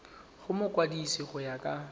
go mokwadise go ya ka